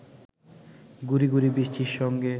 গুঁড়ি গুঁড়ি বৃষ্টির সঙ্গে